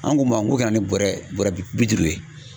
An ko ma ko ka na ni bɔrɛ bɔrɛ bi duuru ye.